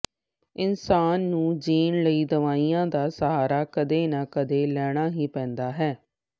ਇੰਸਾਨ ਨੂੰ ਜੀਣ ਲਈ ਦਵਾਈਆਂ ਦਾ ਸਹਾਰਾ ਕਦੇ ਨਾ ਕਦੇ ਲੈਣਾ ਹੀ ਪੈਂਦਾ ਹੈ